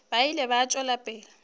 ba ile ba tšwela pele